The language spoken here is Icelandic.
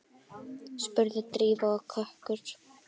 spurði Drífa og kökkur